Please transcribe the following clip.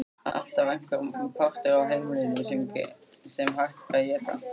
Alltaf einhver partur af heimilinu sem hægt var að éta.